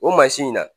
O mansin in na